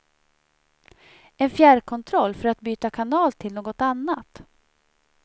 En fjärrkontroll för att byta kanal till något annat.